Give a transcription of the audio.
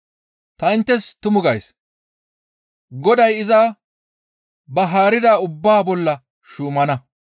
Ta inttes tumu gays; goday iza ba haarida ubbaa bolla shuumana.